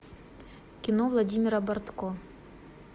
кино владимира бортко